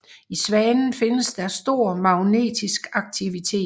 I Svanen findes der stor magnetisk aktivitet